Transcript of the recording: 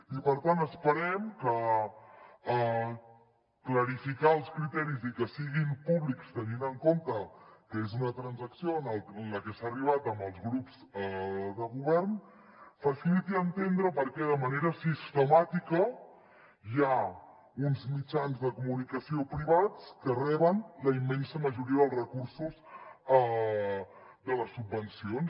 i per tant esperem que clarificar els criteris i que siguin públics tenint en compte que és una transacció en la que s’ha arribat amb els grups de govern faciliti entendre per què de manera sistemàtica hi ha uns mitjans de comunicació privats que reben la im·mensa majoria dels recursos de les subvencions